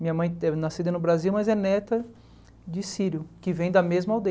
Minha mãe é nascida no Brasil, mas é neta de sírio, que vem da mesma